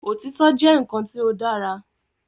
Òtítọ́ jẹ́ nǹkan tí ó dára